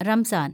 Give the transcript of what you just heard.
റംസാന്‍